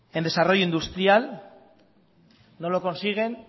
en desarrollo industrial no lo consiguen